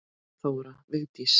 Þóra Vigdís.